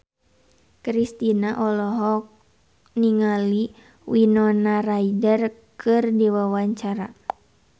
Kristina olohok ningali Winona Ryder keur diwawancara